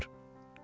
Kim olar?